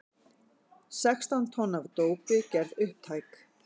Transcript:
Sextán tonn af dópi gerð upptæk